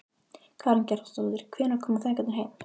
Karen Kjartansdóttir: Hvenær koma feðgarnir heim?